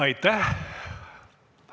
Aitäh!